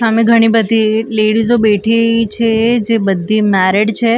સામે ઘણી બધી લેડીઝો બેઠી છે જે બધી મેરીડ છે.